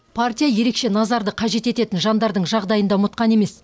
партия ерекше назарды қажет ететін жандардың жағдайын да ұмытқан емес